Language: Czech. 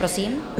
Prosím.